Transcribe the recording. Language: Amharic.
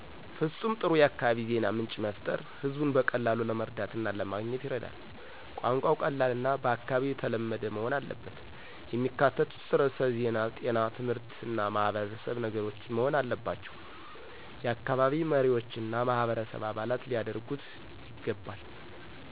ፍጹም ጥሩ የአካባቢ ዜና ምንጭ መፍጠር ህዝቡን በቀላሉ ለመረዳት እና ለማገኘት ይረዳል። ቋንቋው ቀላልና በአካባቢው ተለመደ መሆን አለበት። የሚካተቱት ርዕሶች ዜና ጤና ትምህርት እና ማህበረሰብ ነገሮች መሆን አለባባቸው። የአካባቢ መሪዎችና ማህበረሰብ አባላት ሊያደርጉት ይገባል።